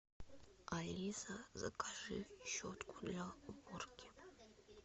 алиса закажи щетку для уборки